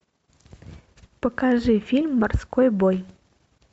покажи фильм морской бой